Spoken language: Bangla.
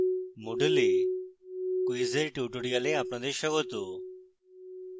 moodle এ quiz এর tutorial আপনাদের স্বাগত